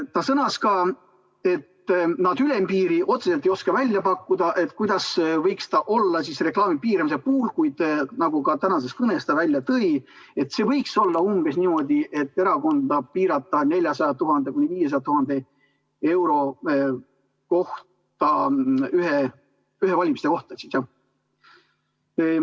Ta sõnas, et nad ülempiiri otseselt ei oska välja pakkuda, milline see võiks reklaami piiramise puhul olla, kuid – nagu ta ka tänases kõnes välja tõi – erakonda võiks piirata 400 000 – 500 000 euroga ühtede valimiste kohta.